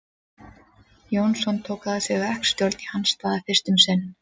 Jónsson tók að sér verkstjórn í hans stað fyrst um sinn.